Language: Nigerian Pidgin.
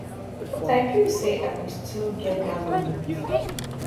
but i feel say i go still get dat moment